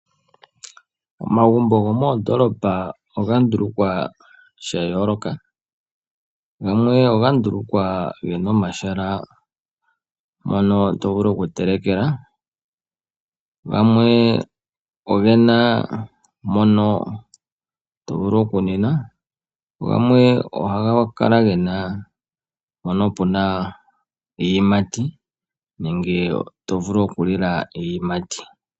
Omagumbo goomondolopa oga ndulukwa shayoloka gamwe oga ndulukwa gena omahala mono to vulu oku telekela, gamwe ogena mpono tovulu oku ninwa nogamwe ohaga kala gena mpono puna iiyimati nenge tovulu oku lila iiyimati.